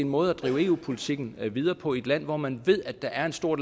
måde at drive eu politikken videre på i et land hvor man ved at der er en stor